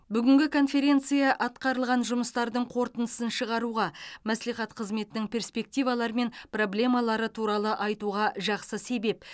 бүгінгі конференция атқарылған жұмыстардың қорытындысын шығаруға мәслихат қызметінің перспективалары мен проблемалары туралы айтуға жақсы себеп